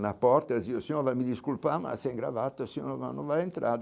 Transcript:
Na porta, o senhor o senhor vai me desculpar, mas sem gravata, o senhor não vai entrar.